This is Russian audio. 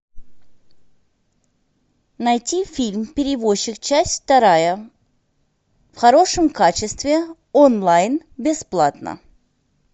найти фильм перевозчик часть вторая в хорошем качестве онлайн бесплатно